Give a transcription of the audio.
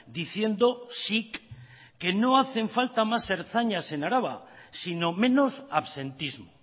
diciendo sic no hacen falta más ertzainas en araba sino menos absentismo